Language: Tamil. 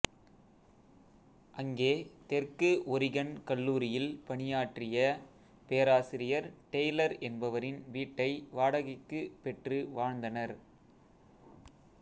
அங்கே தெற்கு ஒரிகன் கல்லூரியில் பணியாற்றிய பேராசிரியர் டெய்லர் என்பவரின் வீட்டை வாடகைக்குப் பெற்று வாழ்ந்தனர்